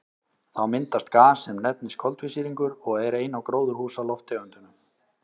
Þá myndast gas sem nefnist koltvísýringur og er ein af gróðurhúsalofttegundunum.